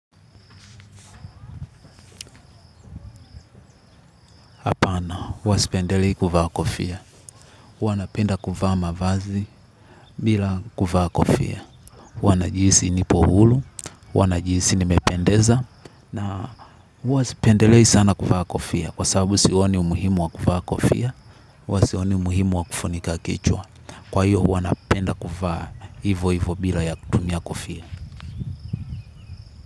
Hapana, huwa sipendelei kuvaa kofia. Huwa napenda kuvaa mavazi bila kuvaa kofia. Huwa najihisi nipo hulu, huwa najiisi nimependeza, na huwa sipendelei sana kuvaa kofia kwa sababu sioni umuhimu wa kuvaa kofia, huwa sioni umuhimu wa kufunika kichwa. Kwa hiyo, huwa napenda kuvaa hivo hivo bila ya kutumia kofia.